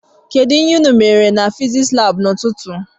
Kedụ ihe unu mere na fiziks lab n'ututu?